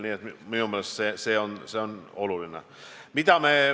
Nii et minu meelest see on oluline.